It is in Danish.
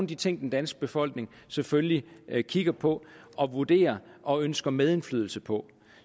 de ting den danske befolkning selvfølgelig kigger på og vurderer og ønsker medindflydelse på